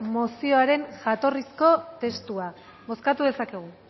mozioaren jatorrizko testua bozkatu dezakegu